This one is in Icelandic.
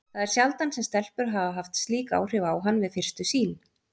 Það er sjaldan sem stelpur hafa haft slík áhrif á hann við fyrstu sýn.